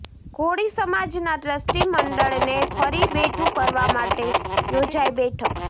કોળી સમાજના ટ્રસ્ટી મંડળને ફરી બેઠું કરવા માટે યોજાઇ બેઠક